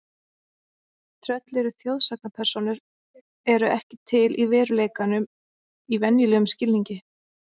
Tröll eru þjóðsagnapersónur eru ekki til í veruleikanum í venjulegum skilningi.